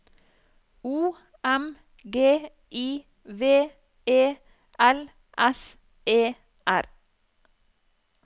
O M G I V E L S E R